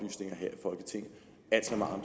herre